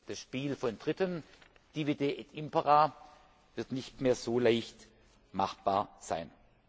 Das Spiel von Dritten Divide et impera wird nicht mehr so leicht machbar sein.